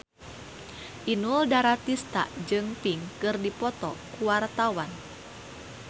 Inul Daratista jeung Pink keur dipoto ku wartawan